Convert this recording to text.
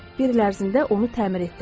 Bir il ərzində onu təmir etdirdim.